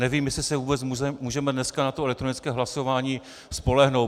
Nevím, jestli se vůbec můžeme dneska na to elektronické hlasování spolehnout.